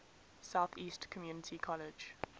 southeast community college